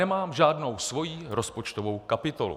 Nemám žádnou svoji rozpočtovou kapitolu.